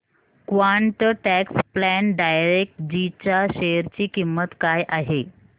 quant tax plan direct G च्या share ची किंमत काय आहे